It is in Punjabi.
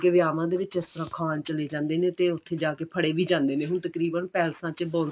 ਵਿਆਵਾਂ ਦੇ ਵਿੱਚ ਇਸ ਤਰ੍ਹਾਂ ਖਾਨ ਚਲੇ ਜਾਂਦੇ ਨੇ ਤੇ ਉੱਥੇ ਜਾਕੇ ਫੜੇ ਵੀ ਜਾਂਦੇ ਨੇ ਹੁਣ ਤਕਰੀਬਨ ਪੈਲੇਸਾਂ ਚ